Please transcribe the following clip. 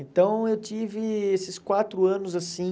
Então eu tive esses quatro anos assim,